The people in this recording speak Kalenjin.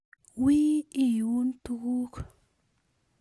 Wii iuun tukuuk